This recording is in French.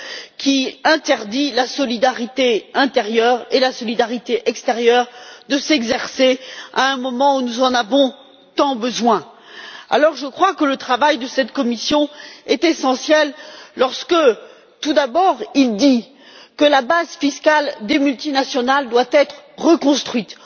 qui interdit la solidarité intérieure et extérieure de s'exercer à un moment où nous en avons tant besoin. Alors, je crois que le travail de cette commission est essentiel lorsque tout d'abord, il est dit que la base fiscale des multinationales doit être reconstruite.